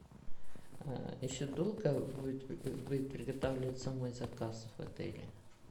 еще долго будет приготавливаться мой заказ в отеле